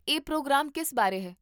ਇਹ ਪ੍ਰੋਗਰਾਮ ਕਿਸ ਬਾਰੇ ਹੈ?